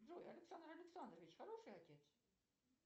джой александр александрович хороший отец